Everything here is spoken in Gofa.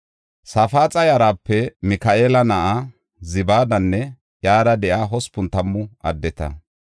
Safaaxa yarape Mika7eela na7a Zibaadanne iyara de7iya hospun tammu addeta.